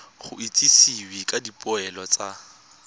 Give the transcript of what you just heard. go itsisiwe ka dipoelo tsa